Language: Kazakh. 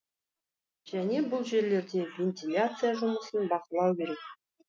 және бұл жерлерде вентиляция жұмысын бақылау керек